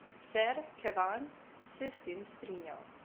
Ser Kevan se je s tem strinjal.